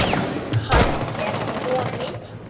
Hann er kominn!